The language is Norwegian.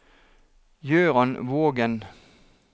Gøran Vågen